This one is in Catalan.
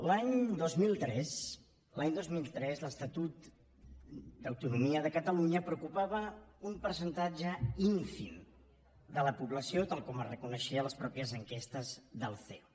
l’any dos mil tres l’any dos mil tres l’estatut d’autonomia de catalunya preocupava un percentatge ínfim de la població tal com es reconeixia a les mateixes enquestes del ceo